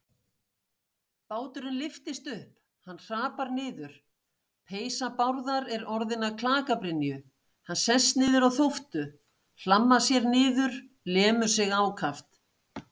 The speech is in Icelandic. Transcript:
Báturinn lyftist upp, hann hrapar niður, peysa Bárðar er orðin að klakabrynju, hann sest niður á þóftu, hlammar sér niður, lemur sig ákaft.